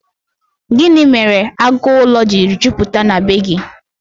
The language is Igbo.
Gịnị mere agụ ụlọ jiri jupụta na bee gị?